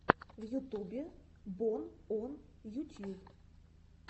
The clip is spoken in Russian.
в ютубе бон он ютьюб